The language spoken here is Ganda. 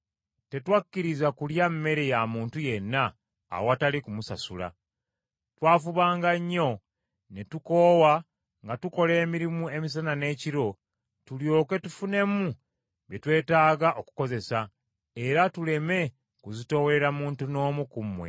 tetwakkiriza kulya mmere ya muntu yenna awatali kumusasula. Twafubanga nnyo ne tukoowa nga tukola emirimu emisana n’ekiro tulyoke tufunemu bye twetaaga okukozesa, era tuleme kuzitoowerera muntu n’omu ku mmwe.